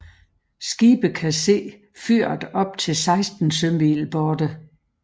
Skibe kan se fyret op til 16 sømil borte